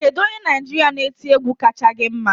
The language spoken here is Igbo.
Kedu onye Naịjirịa na-eti egwu kacha gi mma?